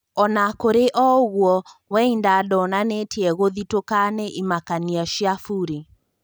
Ona kũrĩ o ũgũo Weinda ndonanĩtie gũthitũka nĩ imakania cia Buri.